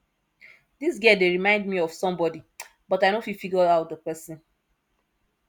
dis girl dey remind me of somebody but i no fit figure out the person